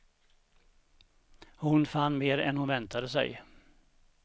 Hon fann mer än hon väntade sig.